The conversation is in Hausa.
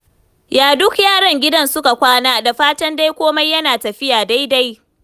Ya duk yaran gidan suka kwana. Da fatan dai komai yana tafiya daidai.